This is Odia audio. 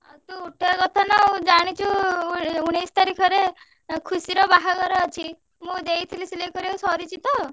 ତୁ ଉଠେଇଆ କଥା ନାଉଁ ଜାଣିଛୁ ଉ ଉଣେଇଶି ତାରିଖରେ ଆଁ ଖୁସିର ବାହାଘର ଅଛି, ମୁଁ ଦେଇଥିଲି ସିଲେଇ କରିଆକୁ ସରିଛି ତ?